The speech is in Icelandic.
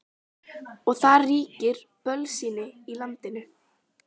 Og það ríkir bölsýni í landinu.